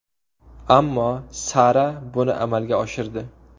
Ammo Sara buni amalga oshirdi.